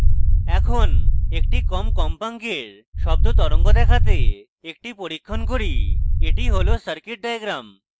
এখন একটি কম কম্পাঙ্কের শব্দ তরঙ্গ দেখাতে একটি পরীক্ষণ করি এটি হল circuit diagram